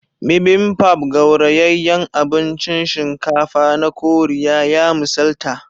Bibimbap, gaurayayyen abincin shinkafa na Koriya, ya misalta